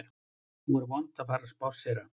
Nú er vont að fara að spásséra